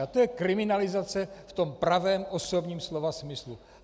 A to je kriminalizace v tom pravém osobním slova smyslu.